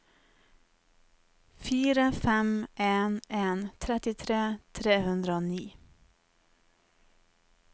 fire fem en en trettitre tre hundre og ni